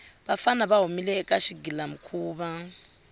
vafana va humile eka xigilamikhuva